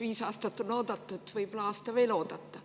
Viis aastat on oodatud, võib aasta veel oodata.